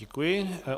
Děkuji.